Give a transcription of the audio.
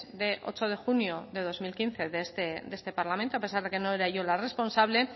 de ocho de junio de dos mil quince de este parlamento a pesar de que no era yo la responsable